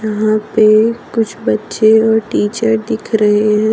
यहां पे कुछ बच्चे और टीचर दिख रहे है।